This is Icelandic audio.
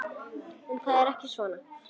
En þetta var ekki svona.